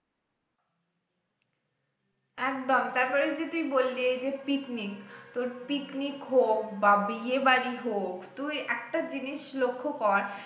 একদম তারপরে যে তুই বললি এইযে picnic তোর picnic হোক বা বিয়ে বাড়ি হোক তুই একটা জিনিস লক্ষ্য কর